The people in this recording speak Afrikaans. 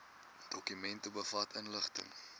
dokument bevat inligting